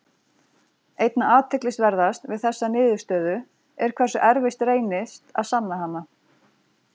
Einna athyglisverðast við þessa niðurstöðu er hversu erfitt reynist að sanna hana.